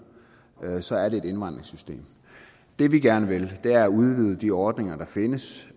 her så er det et indvandringssystem det vi gerne vil er at udvide de ordninger der findes